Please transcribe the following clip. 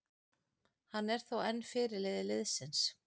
Hann er þó enn fyrirliði liðsins.